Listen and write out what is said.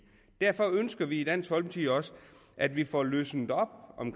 derfor ønsker vi i dansk folkeparti også at vi får løsnet op